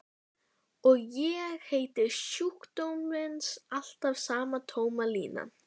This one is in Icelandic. Og heiti sjúkdómsins alltaf sama tóma línan.